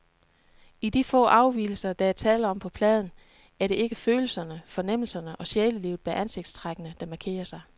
I de få afvigelser, der er tale om på pladen, er det ikke følelserne, fornemmelserne og sjælelivet bag ansigtstrækkene, der markerer sig.